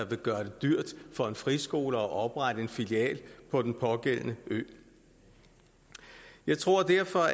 vil gøre det dyrt for en friskole at oprette en filial på den pågældende ø jeg tror derfor